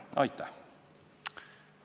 Aitäh!